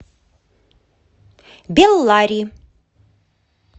беллари